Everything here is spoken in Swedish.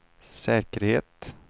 säkerhet